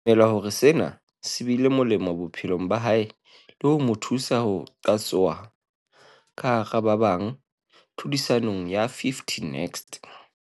O dumela hore sena se bile molemo bophelong ba hae le ho mo thusa ho qatsoha ka hara ba bang tlhodisanong ya 50 Next.